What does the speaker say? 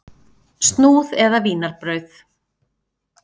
Snúð eða vínarbrauð?